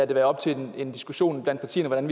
være op til en diskussion iblandt partierne hvordan